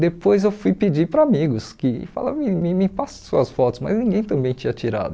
Depois eu fui pedir para amigos que fala amigo me me passa as suas fotos, mas ninguém também tinha tirado.